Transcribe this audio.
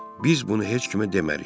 Biz bunu heç kimə demərik.